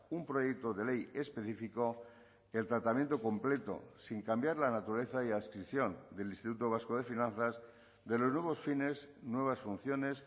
un proyecto de ley específico el tratamiento completo sin cambiar la naturaleza y adscripción del instituto vasco de finanzas de los nuevos fines nuevas funciones